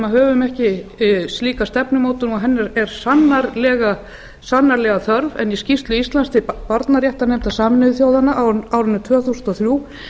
höfum ekki slíka stefnumótun og hennar er sannarlega þörf en í skýrslu íslands til barnaréttarnefndar sameinuðu þjóðanna árið tvö þúsund og þrjú